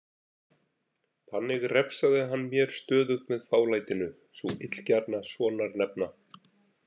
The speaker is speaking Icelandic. Þannig refsaði hann mér stöðugt með fálætinu, sú illgjarna sonarnefna.